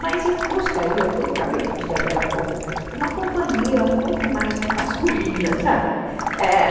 Mas eu gostaria, que eu acabei de dizer agora há pouco, uma companhia um pouco mais masculina, sabe? é